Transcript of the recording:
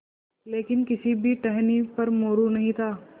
लेकिन किसी भी टहनी पर मोरू नहीं था